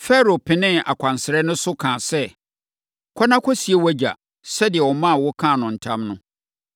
Farao penee akwansra no so, kaa sɛ, “Kɔ na kɔsie wʼagya, sɛdeɛ ɔmaa wo kaa no ntam no.”